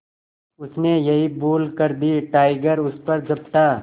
उसने यही भूल कर दी टाइगर उस पर झपटा